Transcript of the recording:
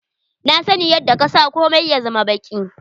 Na sani yadda ka sa komia ya zama baki.